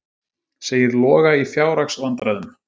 Segir Loga í fjárhagsvandræðum